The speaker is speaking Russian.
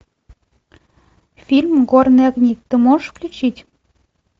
фильм горные огни ты можешь включить